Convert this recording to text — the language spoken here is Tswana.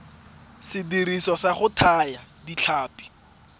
sediriswa sa go thaya ditlhapi